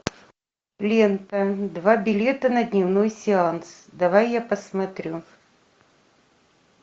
лента два билета на дневной сеанс давай я посмотрю